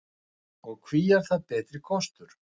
Og hví er það betri kostur?